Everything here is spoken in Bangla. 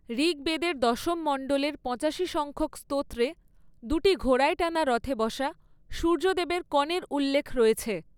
ঋগ্বেদের দশম মণ্ডলের পঁচাশি সংখ্যক স্তোত্রে, দুটি ঘোড়ায় টানা রথে বসা সূর্যদেবের কনের উল্লেখ রয়েছে।